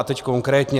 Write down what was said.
A teď konkrétně.